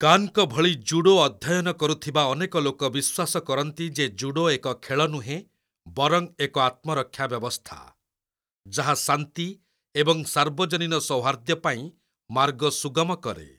କାନ୍‌ଙ୍କ ଭଳି ଜୁଡୋ ଅଧ୍ୟୟନ କରୁଥିବା ଅନେକ ଲୋକ ବିଶ୍ୱାସ କରନ୍ତି ଯେ ଜୁଡୋ ଏକ ଖେଳ ନୁହେଁ ବରଂ ଏକ ଆତ୍ମରକ୍ଷା ବ୍ୟବସ୍ଥା, ଯାହା ଶାନ୍ତି ଏବଂ ସାର୍ବଜନୀନ ସୌହାର୍ଦ୍ଦ୍ୟ ପାଇଁ ମାର୍ଗ ସୁଗମ କରେ।